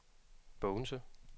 Bogense